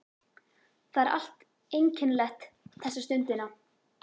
Það er allt einkennilegt þessa stundina.